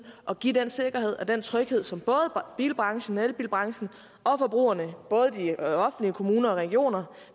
at give den sikkerhed og den tryghed som både bilbranchen elbilbranchen og forbrugerne både de offentlige kommuner og regioner